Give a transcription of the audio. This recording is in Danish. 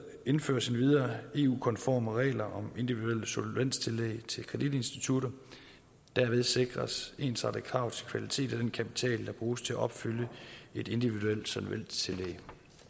indføres endvidere eu konforme regler om individuelle solvenstillæg til kreditinstitutter derved sikres ensartede krav til kvalitet og den kapital der bruges til at opfylde et individuelt solvenstillæg